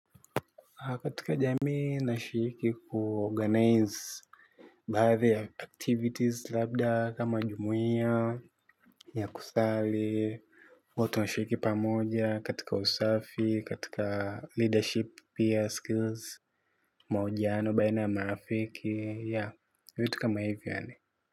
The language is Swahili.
Katika jamii nashiriki kuorganize baadhi ya activities, labda kama jumuia. Ya kusali, watu washiriki pamoja. Katika usafi, katika leadership, peer skills, mahojiano baina ya marafiki. Ya, vitu kama hivi yaani.